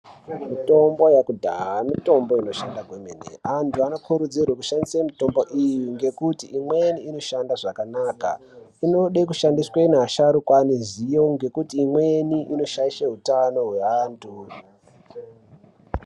Mitombo yekudhaya mitombo inokosha kwemene antu anokurudzirwa kushandisa mitombo iyi ngekuti imweni inoshanda zvakanaka inod keushandiswa neasharuka aneziyo nekuti imweni inoshaisha utano hweantu.